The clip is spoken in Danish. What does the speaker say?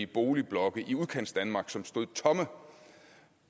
boligblokke i udkantsdanmark som stod tomme